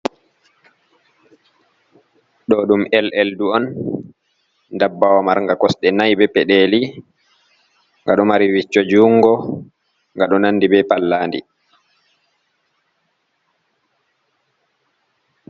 Ɗo ɗum lldu on ndabbawa marnga kosɗe nay be peɗeli nga ɗo mari vicco jungo nga ɗo nandi be pallandi.